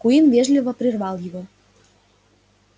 куинн вежливо прервал его